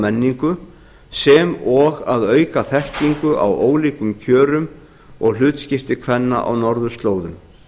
menningu sem og að auka þekkingu á ólíkum kjörum og hlutskipti kvenna á norðurslóðum